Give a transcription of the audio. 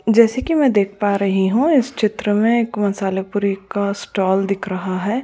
जैसे कि मैं देख पा रही हूं इस चित्र में एक मसालेपुरी का स्टॉल दिख रहा है।